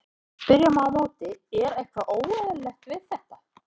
En spyrja má á móti, er eitthvað óeðlilegt við þetta?